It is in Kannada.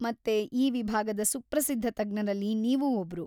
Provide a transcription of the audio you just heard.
ಮತ್ತೆ, ಈ ವಿಭಾಗದ ಸುಪ್ರಸಿದ್ಧ ತಜ್ಞರಲ್ಲಿ ನೀವೂ ಒಬ್ರು.